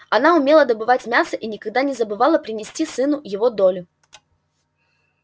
она умела добывать мясо и никогда не забывала принести сыну его долю